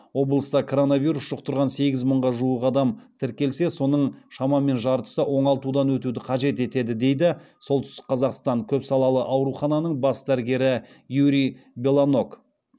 облыста коронавирус жұқтырған сегіз мыңға жуық адам тіркелсе соның шамамен жартысы оңалтудан өтуді қажет етеді дейді солтүстік қазақстан көпсалалы аурухананың бас дәрігері юрий белоног